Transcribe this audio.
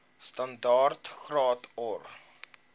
standaard graad or